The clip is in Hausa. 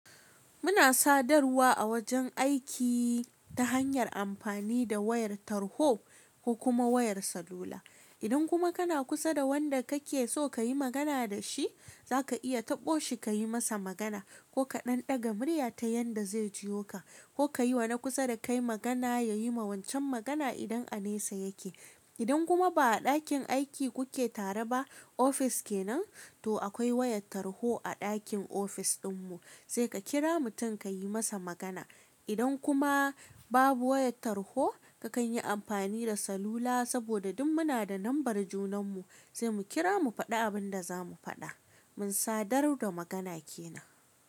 Muna sadarwa a wajen aiki ta hanyar amfani da wayar tarho ko kuma wayar salula. Idan kuma kana kusa da wanda kake so kayi magana da shi, za ka iya taɓo shi ka yi masa magana ko ka ɗan daga murya ta yanda zai jiyo ka, ko ka yiwa na kusa da kai magana ya yi ma wancan magana idan a nesa yake. Idan kuma ba a ɗakin aiki kuke tare ba, ofis kenan, to akwai wayar tarho a ɗakin ofis ɗinmu sai ka kira mutum ka yi masa magana. Idan kuma babu wayar tarho, kakan yi amfani da salula saboda duk muna da lambar junanmu sai mu kira mu faɗi abin da za mu faɗa. Mun sadar da magana kenan.